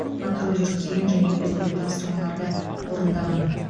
патруль жүргізген және өзге де тапсырмаларды орындаған